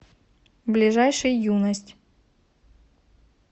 ближайший юность